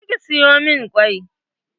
Je ki soya min kwai!